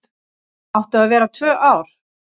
Áttu að vera tvö ár